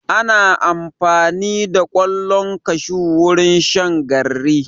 Ana amfani da ƙwallon kashu wurin shan garri.